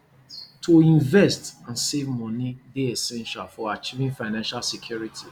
to invest and save money dey essential for achieving financial security